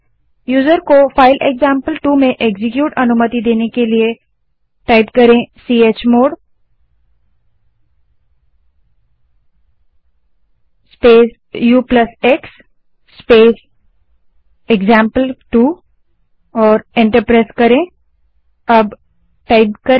user को file example two में execute अनुमति देने के लिए chmod space ux space example two command type करें और एंटर दबायें